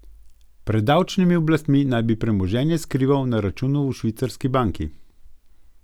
Pred davčnimi oblastmi naj bi premoženje skrival na računu v švicarski banki.